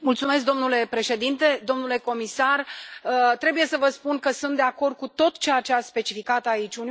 Domnule președinte, domnule comisar, trebuie să vă spun că sunt de acord cu tot ceea ce ați specificat aici.